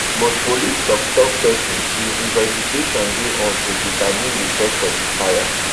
but police toktok pesin say investigation dey on to determine di cause of di fire